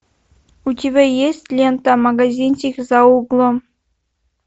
у тебя есть лента магазинчик за углом